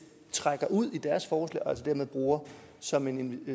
trækker ud i deres forslag og altså dermed bruger som en